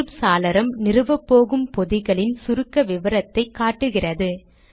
தோன்றும் சாளரம் நிறுவப்போகும் பொதிகளின் சுருக்க விவரத்தை காட்டுகிறது